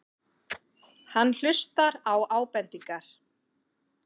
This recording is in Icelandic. Hann hlustar á ábendingar.